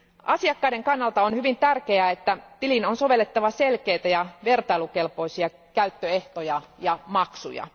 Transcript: Asiakkaiden kannalta on hyvin tärkeää, että tiliin on sovellettava selkeitä ja vertailukelpoisia käyttöehtoja ja maksuja.